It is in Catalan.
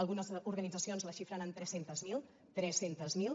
algunes organitzacions la xifren en tres centes mil tres centes mil